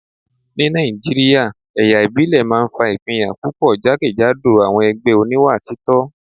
Ní Nàìjíríà, ẹ̀yà ìbílẹ̀ máa ń fa ìpínyà púpọ̀ jákèjádò àwọn ẹgbẹ́ oníwà títọ́